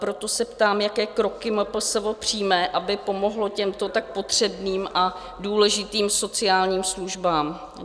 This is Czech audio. Proto se ptám, jaké kroky MPSV přijme, aby pomohlo těmto tak potřebným a důležitým sociálním službám.